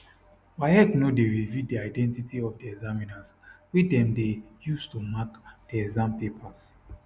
waec no dey reveal di identity of di examiners wey dem dey use to mark di exam papers